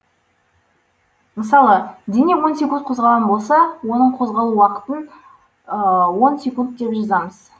мысалы дене он секунд қозғалған болса оның козғалу уақытын он секунд деп жазамыз